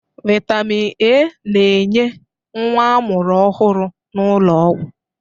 Vitamin A na-enye nwa amụrụ ọhụrụ n'ụlọọgwụ